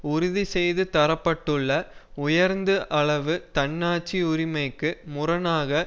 உறுதி செய்து தர பட்டுள்ள உயர்ந்த அளவு தன்னாட்சி உரிமைக்கு முரணாக